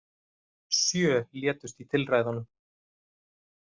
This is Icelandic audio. Sjö létust í tilræðunum